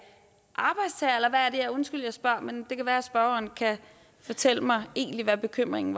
ja undskyld jeg spørger men det kan være at spørgeren kan fortælle mig hvad bekymringen